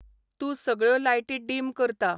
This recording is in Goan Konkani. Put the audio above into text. तूं सगळ्यो लायटी डिम करता